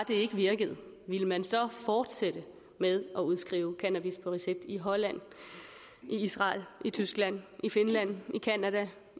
ikke virkede ville man så fortsætte med at udskrive cannabis på recept i holland i israel i tyskland i finland